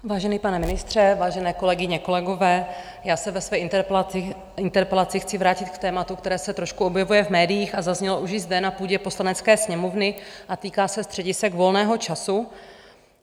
Vážený pane ministře, vážené kolegyně kolegové, já se ve své interpelaci chci vrátit k tématu, které se trošku objevuje v médiích a zaznělo už i zde na půdě Poslanecké sněmovny, a týká se středisek volného času.